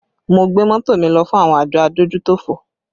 Mo gbé mọ́tò mi lọ fún àwọn àjọ adójútòfò